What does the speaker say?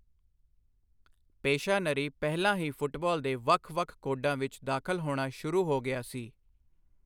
ਪੇਸ਼ਾਨਰੀ ਪਹਿਲਾਂ ਹੀ ਫੁੱਟਬਾਲ ਦੇ ਵੱਖ ਵੱਖ ਕੋਡਾਂ ਵਿੱਚ ਦਾਖਲ ਹੋਣਾ ਸ਼ੁਰੂ ਹੋ ਗਿਆ ਸੀ।